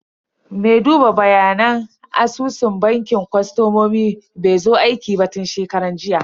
Me duba bayanan asusun bankin kostomomi bai zo aiki ba tun shekaran jiya.